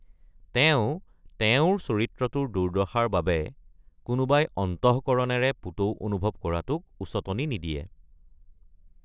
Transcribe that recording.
তেওঁ তেওঁৰ চৰিত্ৰটোৰ দুৰ্দশাৰ বাবে কোনোবাই অন্তঃকৰণেৰে পুতৌ অনুভৱ কৰাটোক উচটনি নিদিয়ে।